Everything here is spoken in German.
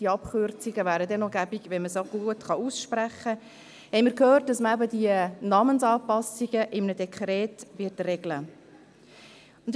Es wäre praktisch, wenn man diese Abkürzungen auch noch gut aussprechen könnte –, dass man diese Namensanpassungen in einem Dekret regeln wird.